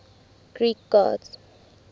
greek gods